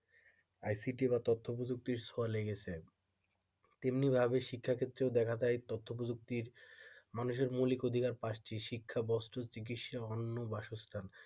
ICT বা তথ্যপ্রযুক্তির ছোঁয়া লেগেছে তেমনিভাবে শিক্ষা ক্ষেত্রেও দেখা যায় তথ্যপ্রযুক্তির মানুষের মৌলিক অধিকার পাচ্ছি শিক্ষা বস্তুর চিকিৎসা অন্ন বাসস্থান,